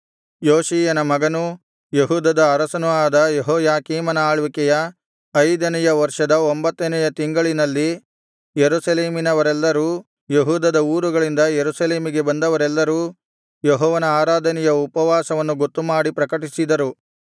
ಯೋಷೀಯನ ಮಗನೂ ಯೆಹೂದದ ಅರಸನೂ ಆದ ಯೆಹೋಯಾಕೀಮನ ಆಳ್ವಿಕೆಯ ಐದನೆಯ ವರ್ಷದ ಒಂಭತ್ತನೆಯ ತಿಂಗಳಿನಲ್ಲಿ ಯೆರೂಸಲೇಮಿನವರೆಲ್ಲರೂ ಯೆಹೂದದ ಊರುಗಳಿಂದ ಯೆರೂಸಲೇಮಿಗೆ ಬಂದವರೆಲ್ಲರೂ ಯೆಹೋವನ ಆರಾಧನೆಯ ಉಪವಾಸವನ್ನು ಗೊತ್ತುಮಾಡಿ ಪ್ರಕಟಿಸಿದರು